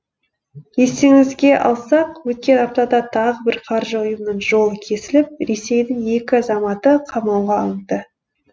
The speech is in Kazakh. естеріңізге алсақ өткен аптада да тағы бір қаржы ұйымының жолы кесіліп ресейдің екі азаматы қамауға алынды